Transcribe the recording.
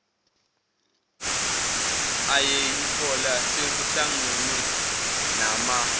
ayeyihola sekuhlangne nama